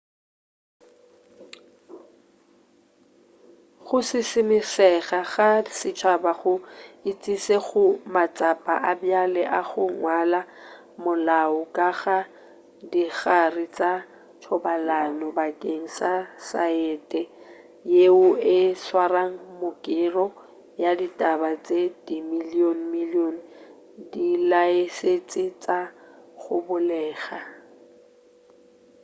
go šišimišega ga setšhaba go išitše go matsapa a bjale a go ngwala molao ka ga dikagare tša thobalano bakeng sa saete yeo e tšwara mekero ya ditaba ye dimilion-milion ya dilaesentse tša go bulega